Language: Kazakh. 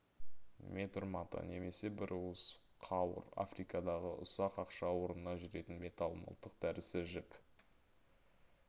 метр мата немесе бір уыс қауыр африкадағы ұсақ ақша орнына жүретін металл мылтық дәрісі жіп